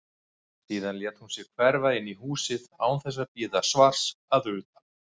Síðan lét hún sig hverfa inn í húsið án þess að bíða svars að utan.